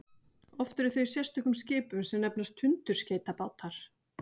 oft eru þau í sérstökum skipum sem nefnast tundurskeytabátar